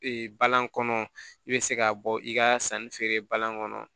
balan kɔnɔ i bɛ se ka bɔ i ka sanni feere balan kɔnɔ